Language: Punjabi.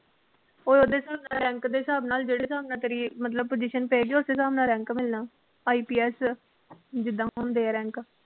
ਓਏ ਓਹਦੇ ਨਾ rank ਦੇ ਹਿਸਾਬ ਨਾਲ ਜਿਹੜੇ ਹਿਸਾਬ ਨਾਲ ਤੇਰੀ ਮਤਲਬ position ਪਏਗੀ ਓਸੇ ਹਿਸਾਬ ਨਾਲ rank ਮਿਲਣਾ IPS ਜਿਦਾਂ ਹੁੰਦੇ ਆ rank